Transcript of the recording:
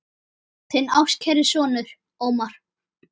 Þinn ástkæri sonur, Ómar.